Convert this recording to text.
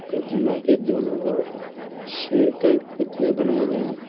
प्रतिमा के दोनों और शेर के पुतले बनाएं गएँ हैं।